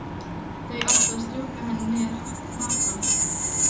Þá áttu að strjúka henni niður hnakkann.